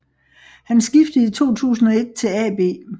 Han skiftede i 2001 til AB